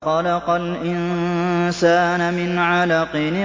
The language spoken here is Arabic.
خَلَقَ الْإِنسَانَ مِنْ عَلَقٍ